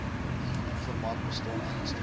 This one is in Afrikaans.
informant bestaan ernstige